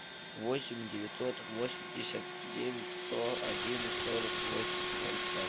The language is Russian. восемь девятьсот восемьдесят девять сто один сорок восемь ноль пять